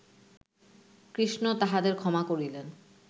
কৃষ্ণ তাহাদের ক্ষমা করিলেন